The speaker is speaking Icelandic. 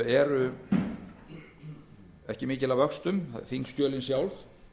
eru ekki miklir að vöxtum það er þingskjölin sjálf